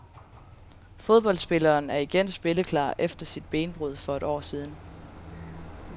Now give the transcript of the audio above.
Fodboldspilleren er igen spilleklar efter sit benbrud for et år siden.